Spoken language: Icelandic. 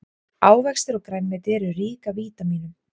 ávextir og grænmeti eru rík af vítamínum